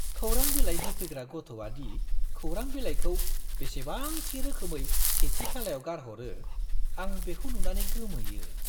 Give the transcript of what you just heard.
खौरां बिलाइ होफैग्रा गथ'आदि खौरां बिलाइखौ बेसेबां थि रोखोमै सेथि थालायाव गारहरो, आं बेखौ नुनानै गोमोयो।